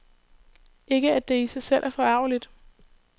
Ikke at det i sig selv er forargeligt.